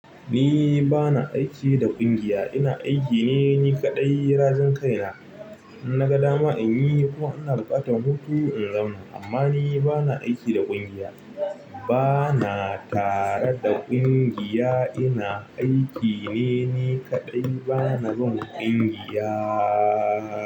Ni bana aiki da ƙungiya, ina aiki ne ni kaɗai. Razin kaina in na ga dama inyi kuma ina buƙatan wutu in zauna amma ni bana aiki da ƙungiya bana tare da ƙungiya. Ina aiki ne ni kaɗai. Bana bin ƙungiya.